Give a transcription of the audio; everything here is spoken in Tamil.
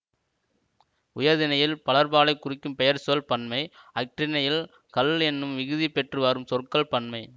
உயர்திணையில் பலர்பாலைக் குறிக்கும் பெயர்ச்சொல் பன்மை அஃறிணையில் கள் என்னும் விகுதி பெற்று வரும் சொற்கள் பன்மை